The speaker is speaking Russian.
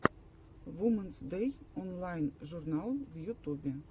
вумэнс дэй онлайн журнал в ютубе